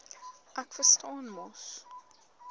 ek verstaan mos